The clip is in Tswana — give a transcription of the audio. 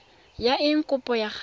ya eng kopo ya gago